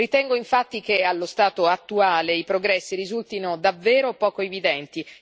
Ritengo, infatti, che allo stato attuale i progressi risultino davvero poco evidenti.